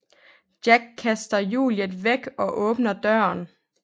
Jack kaster Juliet væk og åbner døren